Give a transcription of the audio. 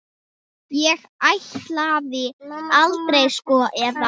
Ég ætlaði aldrei, sko, eða.